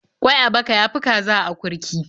Ƙwai a baka ya fi kaza a akurki.